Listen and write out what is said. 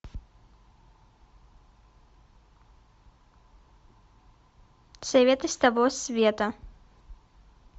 советы с того света